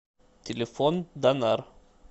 телефон данар